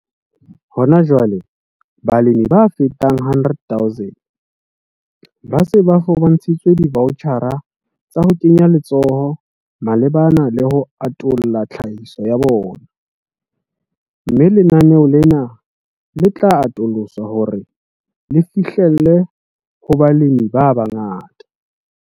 Hona jwale, balemi ba fetang 100 000 ba se ba fumantshitswe divoutjhara tsa ho kenya letsoho malebana le ho atolla tlhahiso ya bona, mme lenaneo lena le tla atoloswa hore le fihlelle ho balemi ba bangata.